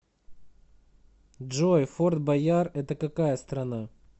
джой форт бойяр это какая страна